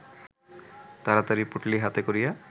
তাড়াতাড়ি পুঁটুলি হাতে করিয়া